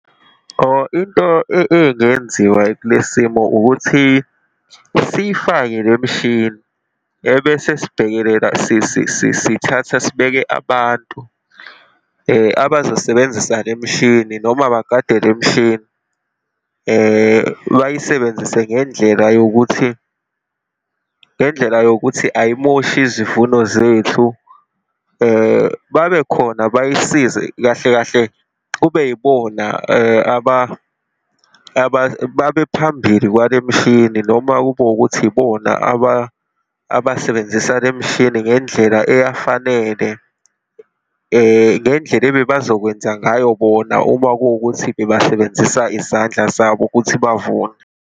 Oh into engenziwa kulesimo ukuthi sifayike le mishini ebese sibhekelela, sithatha sibeke abantu abazosebenzisa le mishini, noma bagade le mishini, bayisebenzise ngendlela yokuthi, ngendlela yokuthi ayimoshi izivuno zethu, babekhona bay'size, kahle kahle, kube yibona babephambili kwalemishini noma kube wukuthi yibona abasebenzisa lemishini ngendlela eyafanele, ngendlela ebebazokwenza ngayo bona uma kuwukuthi bebasebenzisa izandla zabo ukuthi bavune.